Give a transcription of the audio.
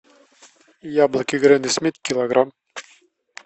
яблоки гренни смит килограмм